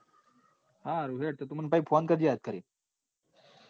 હા હેડ તો તું મન phone કરજે યાદ કરી ને.